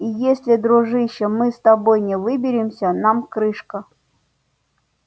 и если дружище мы с тобой не выберемся нам крышка